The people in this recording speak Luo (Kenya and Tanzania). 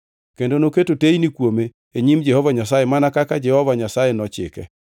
kendo noketo teyni kuome e nyim Jehova Nyasaye mana kaka Jehova Nyasaye nochike.